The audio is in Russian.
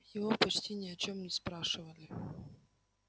его почти ни о чём не спрашивали